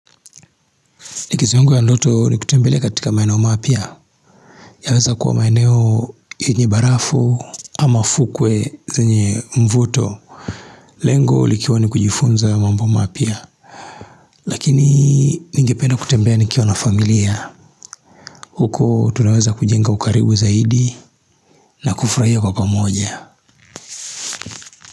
Likizo yangu ya ndoto ni kutembelea katika maeneo mapya. Yaweza kuwa maeneo ye nye barafu ama fukwe ze nye mvuto. Lengo likiwa ni kujifunza mambo mapya. Lakini ningependa kutembea nikiwa na familia. Huko tunaweza kujenga ukarimu zaidi na kufraia kwa pamoja.